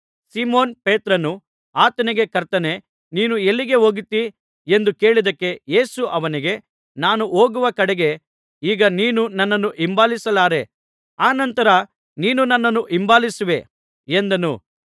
Simon ಪೇತ್ರನು ಆತನಿಗೆ ಕರ್ತನೇ ನೀನು ಎಲ್ಲಿಗೆ ಹೋಗುತ್ತೀ ಎಂದು ಕೇಳಿದ್ದಕ್ಕೆ ಯೇಸು ಅವನಿಗೆ ನಾನು ಹೋಗುವ ಕಡೆಗೆ ಈಗ ನೀನು ನನ್ನನ್ನು ಹಿಂಬಾಲಿಸಲಾರೆ ಅನಂತರ ನೀನು ನನ್ನನ್ನು ಹಿಂಬಾಲಿಸುವೆ ಎಂದನು